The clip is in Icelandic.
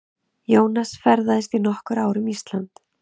Jónas ferðaðist í nokkur ár um Ísland.